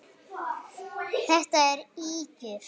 Þetta eru ýkjur!